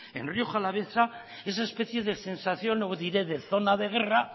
en rioja alavesa esa especie de sensación no diré de zona de guerra